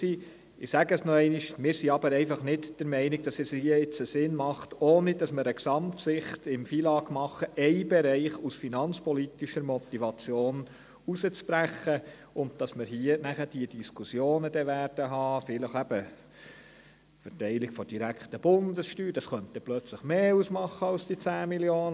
Nach unserer Meinung macht es aber einfach keinen Sinn, aus einer finanzpolitischen Motivation ohne Gesamtsicht über das FILAG einen Bereich herauszubrechen, um dann wieder über die Verteilung der direkten Bundessteuer diskutieren zu müssen.